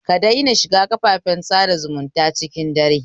Kadaina shiga kafafen sada zumunta cikin dare.